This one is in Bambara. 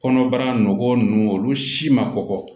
Kɔnɔbara nɔgɔ nunnu olu si ma kɔkɔ